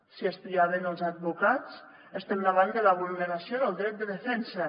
si espiaven els advocats estem davant de la vulneració del dret de defensa